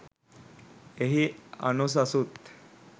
එහි අනුසසුත්